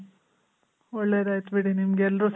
ಒಳ್ಳೇದ್ ಆಯ್ತ್ ಬಿಡಿ ನಿಮ್ಗ್ ಎಲ್ರು